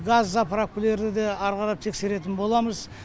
газ заправкілерді де ары қарап тексеретін боламыз